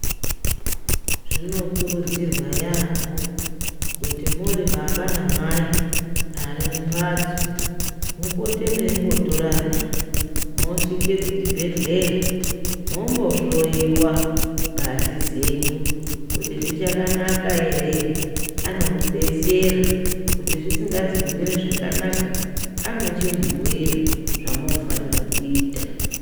Zvinokurudzirwa yaamho kuti muri baba namai arimumbatso, mupote muyimbotorana mosvike kuchibhedleya mombohloyiwa ngazi dzenyu, kuti zvichakanaka here anomudetsera kuti zvisinganzi kumira zvakanaka, anochimubhuyira zvamunofanira kuita.